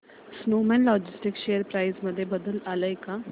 Snowman Logistics share price मध्ये बदल आलाय का